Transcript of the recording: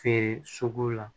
Feere sugu la